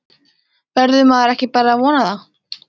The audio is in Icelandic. Verður maður ekki bara að vona það?